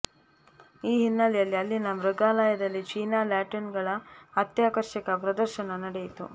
ಈ ಹಿನ್ನೆಲೆಯಲ್ಲಿ ಅಲ್ಲಿನ ಮೃಗಾಲಯದಲ್ಲಿ ಚೀನಾ ಲ್ಯಾಟೀನುಗಳ ಅತ್ಯಾಕರ್ಷಕ ಪ್ರದರ್ಶನ ನಡೆಯಿತು